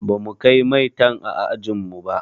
Bamu kai maitan a ajin mu ba.